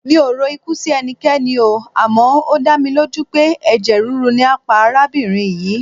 Mi ò rokú sí ẹnikẹ́ni oo, àmọ́ ó dámilójú pé ẹ̀jẹ̀ rírú ni á pa arábìnrin yìí.